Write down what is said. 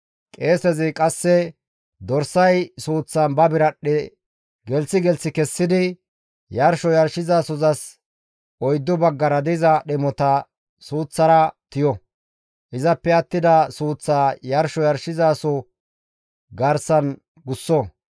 Qeesezi qasse dorsay suuththan ba biradhdhe gelththi gelththi kessidi yarsho yarshizasozas oyddu baggara diza dhemota suuththara tiyo; izappe attida suuththaa yarsho yarshizaso garsan gusso.